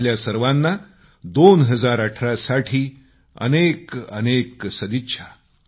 आपल्या सर्वांना 2018 साठी अनेकअनेक सदिच्छा